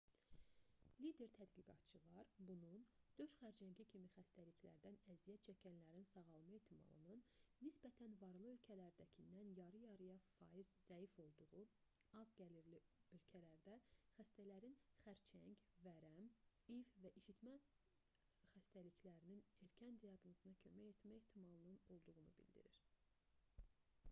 lider tədqiqatçılar bunun döş xərçəngi kimi xəstəliklərdən əziyyət çəkənlərin sağalma ehtimalının nisbətən varlı ölkələrdəkindən yarı-yarıya zəif olduğu az-gəlirli ölkələrdə xəstələrin xərçəng vərəm i̇i̇v və isitmə xəstəliklərinin erkən diaqnozuna kömək etmə ehtimalının olduğunu bildirir